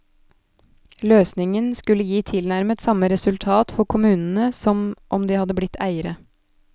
Løsningen skulle gi tilnærmet samme resultat for kommunene som om de hadde blitt eiere.